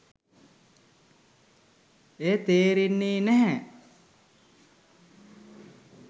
එය තේරෙන්නේ නැහැ.